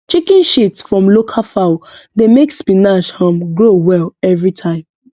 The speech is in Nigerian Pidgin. chicken shit from local fowl dey make spinach um grow well every time